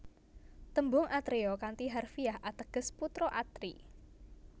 Tembung atreya kanthi harfiah ateges putra Atri